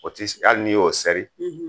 O tɛ hali ni y'o sɛri